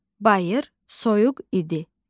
Bayır soyuq idi.